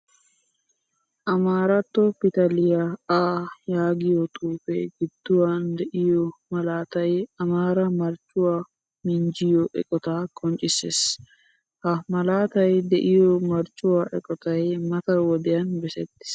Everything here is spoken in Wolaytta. Amaaratto pitaliya Aa yaagiyaa xuufe gidduwan deiyo malaataay amaara marccuwaa minjjiyo eqqotta qoncciisees. Ha malaatay de'iyo marccuwaa eqqotay mata wodiyan baasettiis.